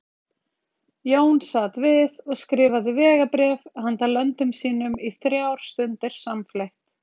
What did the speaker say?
Jón sat við og skrifaði vegabréf handa löndum sínum í þrjár stundir samfleytt.